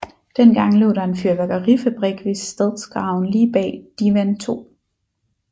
Dengang lå der en fyrværkerifabrik ved Stadsgraven lige bag Divan 2